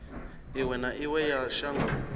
iwe na iwe ya shango